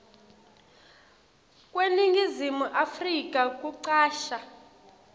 kweningizimu afrika kucasha